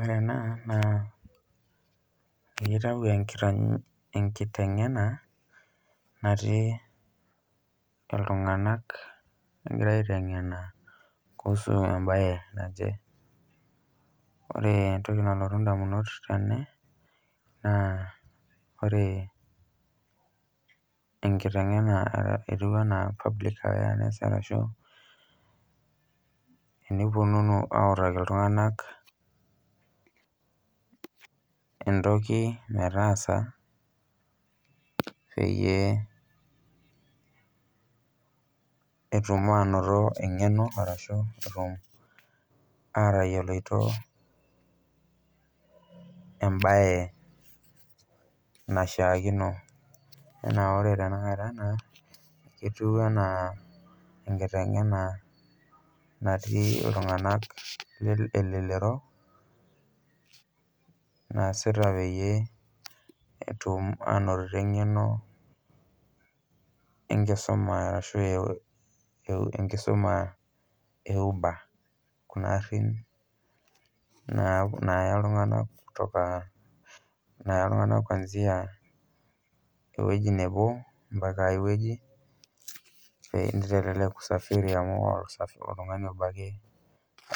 Ore ena naa eitau enkiny enkiteng'ena natii iltung'anak egira aiteng'ena kuhusu embaye naje. Ore entoki nalotu ndamunot tene naa ore enkiteng'ena etiu enaa public awareness arashu eniponunu autaki iltung'anak entoki metaasa peyie etum aanoto eng'eno arashu etum atayioloito embaye naishaakino. Enaa ore tenakata ena, ketiu enaa enkiteng'ena natii iltung'anak lel elelero naasita peyie etum aanotito eng'eno enkisuma arashu eu enkisuma eu enkisuma e uber kuna arin naap naaya iltung'anak kutoka naaya iltung'anak kuanzia ewoji nebo mpaka ewueji pee nitelelek usafiri amu oltung'ani obo ake